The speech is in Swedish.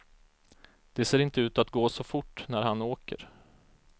Det ser inte ut att gå så fort när han åker.